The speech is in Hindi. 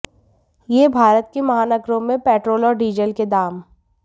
ये है भारत के महानगरों में पेट्रोल और डीजल के दाम